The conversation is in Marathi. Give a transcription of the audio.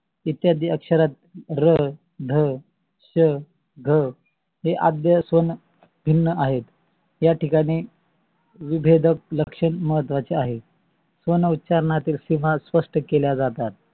इत्यादि अक्षरात र, ध, श, घ हे असून भिन्न आहेत. या ठिकाणी विभेदक लक्षण म्हत्वाचे आहे. स्वने उच्चारनातीला स्पष्ट केल्या जातात.